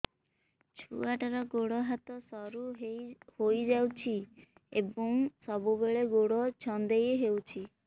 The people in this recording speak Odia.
ଛୁଆଟାର ଗୋଡ଼ ହାତ ସରୁ ହୋଇଯାଇଛି ଏବଂ ସବୁବେଳେ ଗୋଡ଼ ଛଂଦେଇ ହେଉଛି